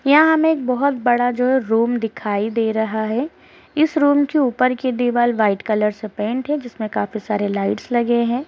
यहाँ हमें एक बहुत बड़ा जो है रूम दिखाई दे रहा है । इस रूम के ऊपर कि दिवाल व्हाइट कलर से पेंट है जिसमें काफी सारे लाइट्स लगे हैं।